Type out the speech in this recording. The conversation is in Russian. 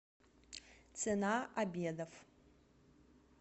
цена обедов